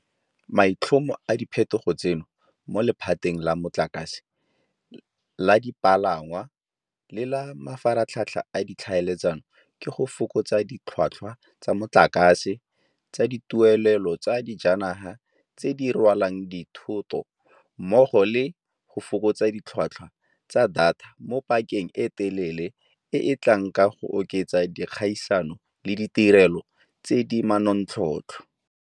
Maitlhomo a diphetogo tseno mo lephateng la motlakase, la dipalangwa le la mafaratlhatlha a ditlhaeletsano ke go fokotsa ditlhotlhwa tsa motlakase, tsa dituelelo tsa dijanaga tse di rwalang dithoto mmogo le go fokotsa ditlhotlhwa tsa data mo pakeng e telele e e tlang ka go oketsa dikgaisano le ditirelo tse di manontlhotlho.